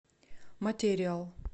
материал